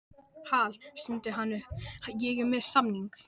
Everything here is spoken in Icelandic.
Hal, stundi hann upp, ég er með samning